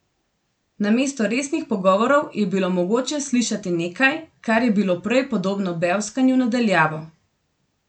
Namesto resnih pogovorov je bilo mogoče slišati nekaj, kar je bilo prej podobno bevskanju na daljavo.